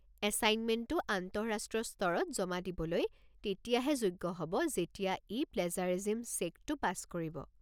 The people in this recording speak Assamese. এছাইনমেণ্টটো আন্তঃৰাষ্ট্ৰীয় স্তৰত জমা দিবলৈ তেতিয়াহে যোগ্য হ'ব যেতিয়া ই প্লেজাৰিজিম চেকটো পাছ কৰিব।